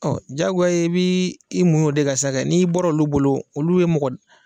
Ɔ jagoyaye i bɛ i munyu o de ka sa, n'i bɔra olu bolo olu ye mɔgɔ